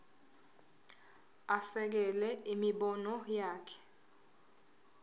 asekele imibono yakhe